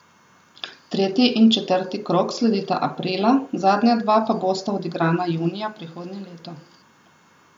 Tretji in četrti krog sledita aprila, zadnja dva pa bosta odigrana junija prihodnje leto.